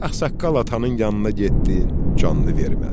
Ağsaqqal atanın yanına getdin, canını vermədi.